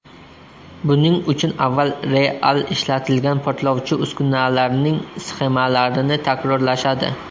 Buning uchun avval real ishlatilgan portlovchi uskunalarning sxemalarini takrorlashadi.